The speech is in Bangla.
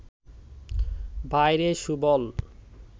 ভাইরে সুবল